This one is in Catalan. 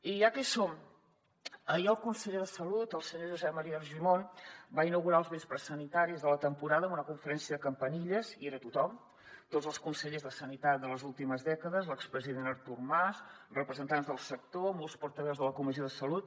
i ja que hi som ahir el conseller de salut el senyor josep maria argimon va inaugurar els vespres sanitaris de la temporada amb una conferència de campanilles hi era tothom tots els consellers de sanitat de les últimes dècades l’expresident artur mas representants del sector molts portaveus de la comissió de salut